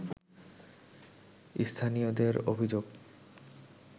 স্থানীয়দের অভিযোগ